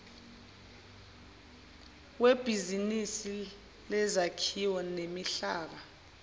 webhizinisi lezakhiwo nemihlaba